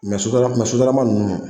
Mɛ sotara sotarama ninnu